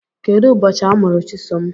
Kedụ ụbọchị amụrụ Chisom?